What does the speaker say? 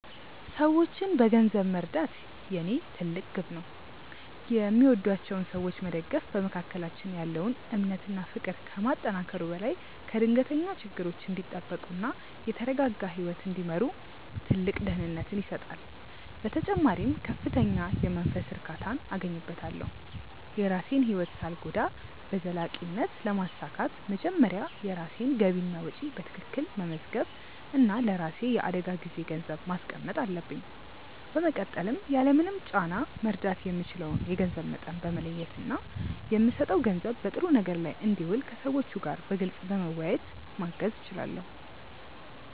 ሰዎችን በገንዘብ መርዳት የኔ ትልቅ ግብ ነው። የሚወዷቸውን ሰዎች መደገፍ በመካከላችን ያለውን እምነት እና ፍቅር ከማጠናከሩ በላይ ከድንገተኛ ችግሮች እንዲጠበቁ እና የተረጋጋ ህይወት እንዲመሩ ትልቅ ደህንነትን ይሰጣል። በተጨማሪም ከፍተኛ የመንፈስ እርካታን አገኝበታለሁ። የራሴን ህይወት ሳልጎዳ በዘላቂነት ለማሳካት መጀመሪያ የራሴን ገቢና ወጪ በትክክል መመዝገብ እና ለራሴ የአደጋ ጊዜ ገንዘብ ማስቀመጥ አለብኝ። በመቀጠልም ያለምንም ጫና መርዳት የምችለውን የገንዘብ መጠን በመለየት እና የምሰጠው ገንዘብ በጥሩ ነገር ላይ እንዲውል ከሰዎቹ ጋር በግልፅ በመወያየት ማገዝ እችላለሁ።